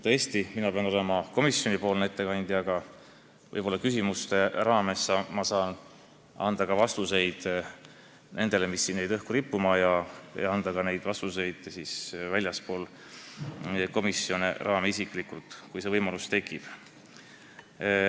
Tõesti, ma pean olema komisjonipoolne ettekandja, aga võib-olla saan küsimuste raames ka anda vastuseid küsimustele, mis jäid õhku rippuma, ja anda neid nagu väljaspool komisjoni raame, isiklikult, kui see võimalus tekib.